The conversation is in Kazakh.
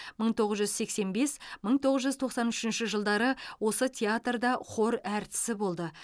мың тоғыз жүз сексен бес мың тоғыз жүз тоқсан үшінші жылдары осы театрда хор әртісі болды